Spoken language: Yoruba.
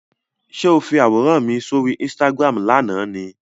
Ṣé o fi àwòrán mi sóri Instagram lánàá ni?